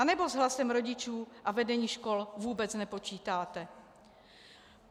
Anebo s hlasem rodičů a vedení škol vůbec nepočítáte?